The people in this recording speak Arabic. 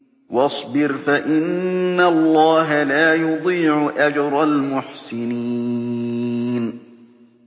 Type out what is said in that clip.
وَاصْبِرْ فَإِنَّ اللَّهَ لَا يُضِيعُ أَجْرَ الْمُحْسِنِينَ